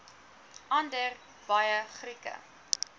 onder baie grieke